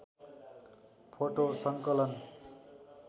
photo सङ्कलन